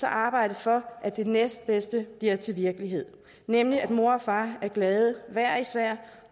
at arbejde for at det næstbedste bliver til virkelighed nemlig at mor og far er glade hver især